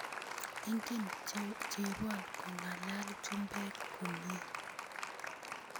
iken chebon ko nga'lal chubek komie